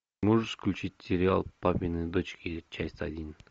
можешь включить сериал папины дочки часть один